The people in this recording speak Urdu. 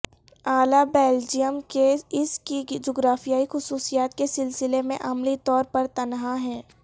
اعلی بیلجیم کے اس کی جغرافیائی خصوصیات کے سلسلے میں عملی طور پر تنہا ہے